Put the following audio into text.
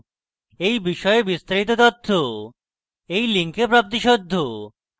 এই বিষয়ে বিস্তারিত তথ্য এই link প্রাপ্তিসাধ্য